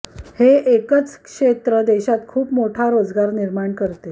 हे एकच क्षेत्र देशात खूप मोठा रोजगार निर्माण करते